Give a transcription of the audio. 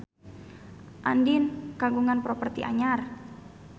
Andien kagungan properti anyar